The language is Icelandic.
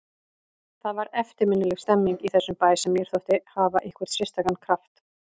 Það var eftirminnileg stemmning í þessum bæ sem mér þótti hafa einhvern sérstakan kraft.